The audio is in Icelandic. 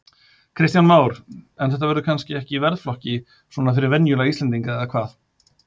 Kristján Már: En þetta verður kannski ekki í verðflokki svona fyrir venjulega íslendinga eða hvað?